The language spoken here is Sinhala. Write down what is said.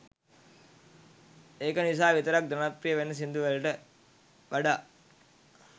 එක නිසා විතරක් ජනප්‍රිය වෙන සින්දු වලට වඩා